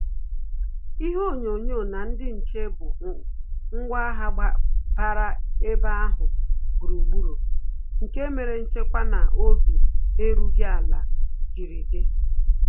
Ihe onyonyo na ndị nche bụ ngwa agha gbara ebe ahụ gburugburu, nke mere nchekwa na obi erughị ala jiri di